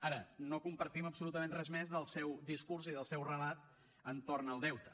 ara no compartim absolutament res més del seu discurs i del seu relat entorn del deute